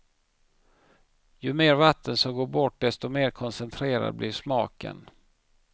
Ju mer vatten som går bort, desto mer koncentrerad blir smaken.